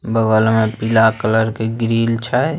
--बगल मैं पीला कलर के ग्रील छे।